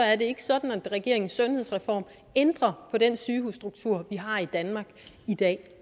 er det ikke sådan at regeringens sundhedsreform ændrer på den sygehusstruktur vi har i danmark i dag